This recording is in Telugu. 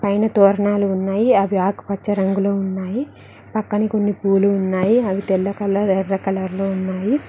పైన తొరణాలు ఉన్నాయి అవి ఆకుపచ్చ రంగులో ఉన్నాయి పక్కనే కొన్ని పూలు ఉన్నాయి అవి తెల్ల కలర్ ఎర్ర కలర్ లో ఉన్నాయి.